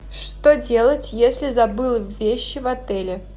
что делать если забыл вещи в отеле